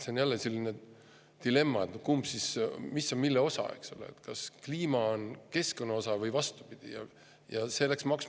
See on jälle selline dilemma, et kumb siis on, mis on mille osa, eks ole – kas kliima on keskkonna osa või vastupidi?